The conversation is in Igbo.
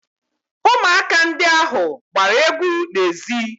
Ụmụaka ndị ahụ gbara egwu n'ezi